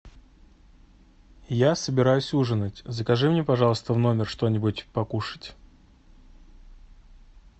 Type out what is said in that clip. я собираюсь ужинать закажи мне пожалуйста в номер что нибудь покушать